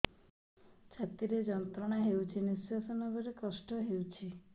ଛାତି ରେ ଯନ୍ତ୍ରଣା ହେଉଛି ନିଶ୍ଵାସ ନେବାର କଷ୍ଟ ହେଉଛି